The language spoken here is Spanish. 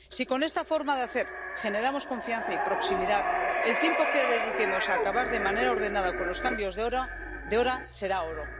Si con esta forma de hacer generamos confianza y proximidad, el tiempo que dediquemos a acabar de manera ordenada con los cambios de hora será oro.